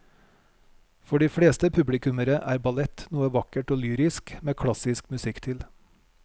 For de fleste publikummere er ballett noe vakkert og lyrisk med klassisk musikk til.